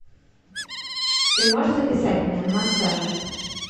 ты можешь записать меня на массаж